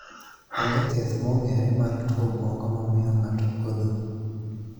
Onge thiedh mong'ere mar tuo obwongo mamiyo ng'ato podho